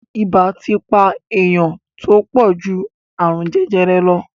Ibà ti pa èèyàn tó pọ̀ ju àrùn jẹjẹrẹ lọ